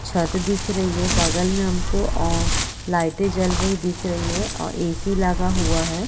छत दिख रही है बगल में हमको ओ लाइटे जल रही है दिख रही है आ ए.सी. लगा हुआ है।